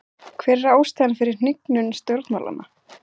Hver er ástæðan fyrir hnignun stjórnmálanna?